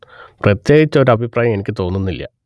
പ്രത്യേകിച്ച് ഒരു അഭിപ്രായം എനിക്ക് തോന്നുന്നില്ല